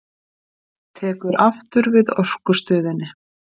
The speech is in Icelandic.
Tekur aftur við Orkustöðinni